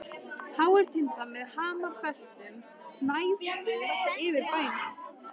Háir tindar með hamrabeltum gnæfðu yfir bænum.